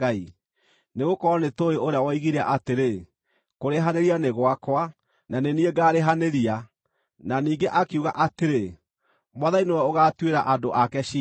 Nĩgũkorwo nĩtũũĩ ũrĩa woigire atĩrĩ, “Kũrĩhanĩria nĩ gwakwa, na nĩ niĩ ngaarĩhanĩria,” na ningĩ akiuga atĩrĩ, “Mwathani nĩwe ũgaatuĩra andũ ake ciira.”